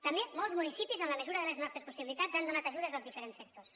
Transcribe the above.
també molts municipis en la mesura de les nostres possibilitats han donat ajudes als diferents sectors